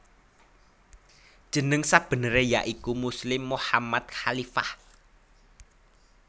Jeneng sabeneré ya iku Muslim Mochammad Khalifah